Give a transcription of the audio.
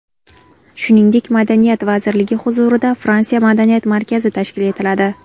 Shuningdek, Madaniyat vazirligi huzurida Fransiya madaniyat markazi tashkil etiladi.